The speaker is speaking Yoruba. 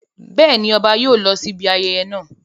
Bẹ́ẹ̀ ni, ọba yóò lọ síbi ayẹyẹ náà.